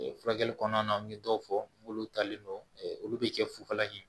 Furakɛli kɔnɔna na an ye dɔw fɔ n'olu talen don olu be cɛ fufala ɲɛ